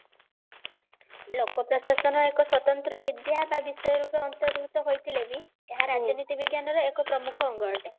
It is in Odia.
ଲୋକ ପ୍ରଶାସନ ଏକ ସ୍ଵତନ୍ତ୍ର ବିଦ୍ୟା ବା ବିଷୟ ରୂପେ ଅନ୍ତର୍ଭୁକ୍ତ ହୋଇଥିଲେ ବି ଏହା ତରାଜନୀତି ବିଜ୍ଞାନ ର ଏକ ପ୍ରମୁଖ ଅଙ୍ଗ ଅଟେ